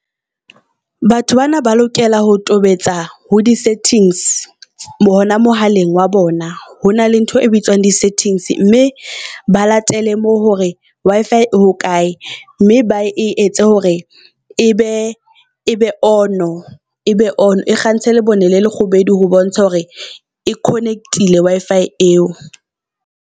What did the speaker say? Batho bana ba lokela ho tobetsa ho di settings hona mohaleng wa bona. Hona le ntho e bitswang di settings mme ba latele mo hore Wi-Fi e ho kae. Mme ba e etse hore e be e be on-o e be on-o. E kgantshe lebone le lekgubedu ho bontsha hore e connect-ile Wi-Fi eo.